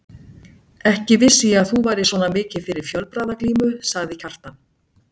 Ekki vissi ég að þú værir svona mikið fyrir fjölbragðaglímu, sagði Kjartan.